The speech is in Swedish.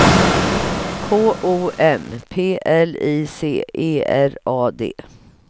K O M P L I C E R A D